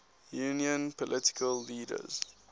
union political leaders